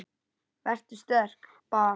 Vertu sterk- bað